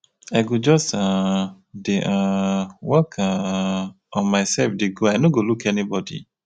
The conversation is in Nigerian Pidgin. i go just um dey um work um on myself dey go i no go look anybody